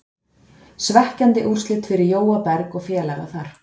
Svekkjandi úrslit fyrir Jóa Berg og félaga þar.